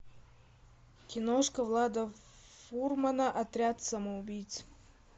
киношка влада фурмана отряд самоубийц